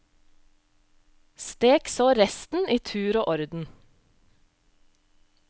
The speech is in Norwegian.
Stek så resten i tur og orden.